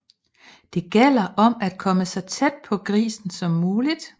Det gælder om at komme så tæt på grisen som muligt